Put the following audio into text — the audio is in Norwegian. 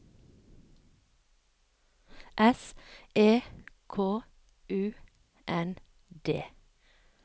S E K U N D